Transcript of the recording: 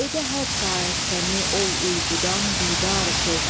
edə hər saat səni ol uyqudan bidar söz.